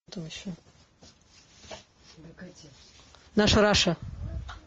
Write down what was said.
наша раша